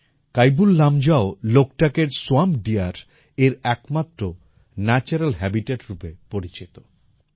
কাইবুল লামজাও কেইবুল লামজাও লোকটাকের Loktak swamp deer এর একমাত্র ন্যাচুরাল হাবিতাত রূপে পরিচিত